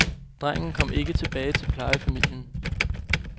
Drengen kom ikke tilbage til plejefamilien.